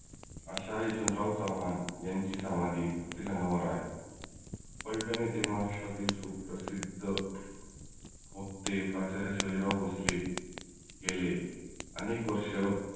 अश्या यशवंतराव चव्हान यांची समाधी प्रतिसंगमावर आहे. फल्टन येथे महाराष्ट्रातील सुप्रसिद्ध वक्ते शिवाजीराव भोसले गेले आनेक वर्ष